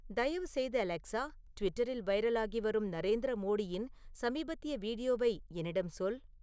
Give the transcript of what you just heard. தயவு செய்து அலெக்சா ட்விட்டரில் வைரலாகி வரும் நரேந்திர மோடியின் சமீபத்திய வீடியோவை என்னிடம் சொல்